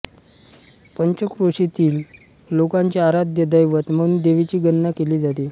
पंचक्रोशीतील लोकांचे आराध्य दैवत म्हणून देवीची गणना केली जाते